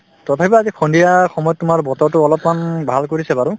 তথাপিও আজি সন্ধিয়া সময়ত তোমাৰ বতৰতো অলপমান ভাল কৰিছে বাৰু